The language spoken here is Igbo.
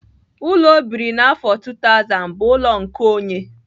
Ụlọ ọ biri n'afọ 2000 bụ ụlọ nkeonye.